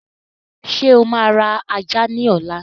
Ṣé o máa ra ajá ni ọ̀la?